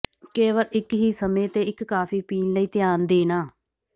ਕੇਵਲ ਇੱਕ ਹੀ ਸਮੇਂ ਤੇ ਇੱਕ ਕਾਫੀ ਪੀਣ ਲਈ ਧਿਆਨ ਦੇਣਾ